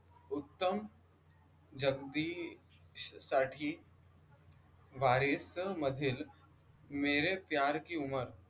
उत्तम जगदीश साठी मधील मेरे प्यार की उमर